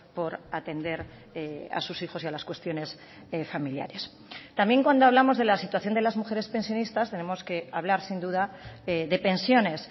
por atender a sus hijos y a las cuestiones familiares también cuando hablamos de la situación de las mujeres pensionistas tenemos que hablar sin duda de pensiones